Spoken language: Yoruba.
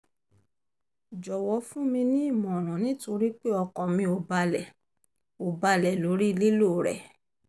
jọ̀wọ́ fún mi ní ìmọ̀ràn nítorí pé ọkàn mi ò balẹ̀ ò balẹ̀ lórí lílò rẹ̀